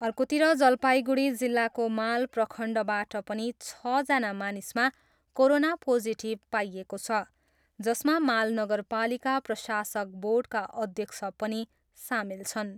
अर्कोतर्फ जलपाइगुडी जिल्लाको माल प्रखण्डबाट पनि छजना मानिसमा कोरोना पोजिटिभ पाइएको छ, जसमा माल नगरपालिका प्रशासक बोर्डका अध्यक्ष पनि सामेल छन्।